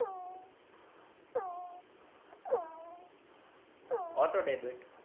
auto debit